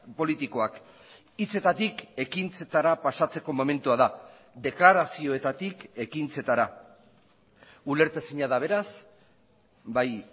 politikoak hitzetatik ekintzetara pasatzeko momentua da deklarazioetatik ekintzetara ulertezina da beraz bai